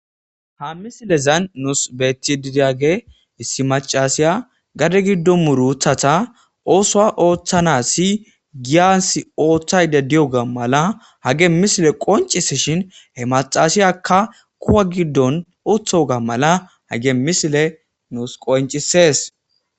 Ha misilezan nuus beeti didiage issi macasiya gade giddo muru wuthata oosoa ooththana si giyans ooththayde diyoga mala hage misile qoncise shin he macasiyakka kuwa giddon uthoga mala hage misile nuus qoncisees.